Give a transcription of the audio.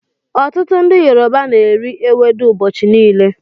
Ọtụtụ ndị Yoruba n'eri ewedu ụbọchị niile